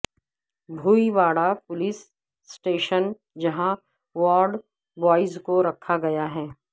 Bhoiwada police station جہاں ward boys کو رکھا گیا ہے